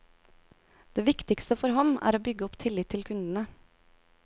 Det viktigste for ham er å bygge opp tillit til kundene.